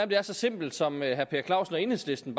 det er så simpelt som herre per clausen og enhedslisten